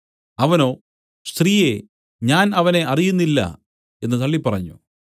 അവനോ സ്ത്രീയേ ഞാൻ അവനെ അറിയുന്നില്ല എന്നു തള്ളിപ്പറഞ്ഞു